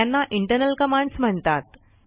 त्यांना internal commands म्हणतात